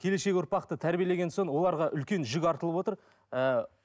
келешек ұрпақты тәрбиелеген соң оларға үлкен жүк артылып отыр ііі